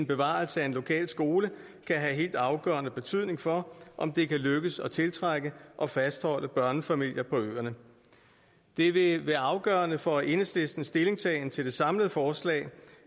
bevarelse af en lokal skole kan have helt afgørende betydning for om det kan lykkes at tiltrække og fastholde børnefamilier på øerne det vil være afgørende for enhedslistens stillingtagen til det samlede forslag